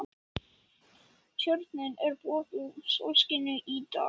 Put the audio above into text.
Tjörnin er böðuð sólskini í dag.